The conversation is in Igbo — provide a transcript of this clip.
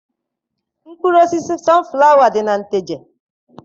Mkpụrụ osisi sọnflawa dị na Nteje.